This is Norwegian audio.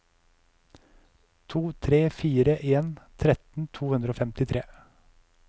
to tre fire en tretten to hundre og femtitre